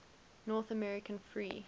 north american free